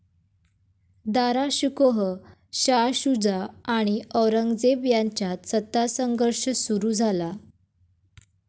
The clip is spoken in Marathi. दाराशुकोह, शाह शूजा आणि औरंगजेब यांच्यात सत्तासंघर्ष सुरु झाला.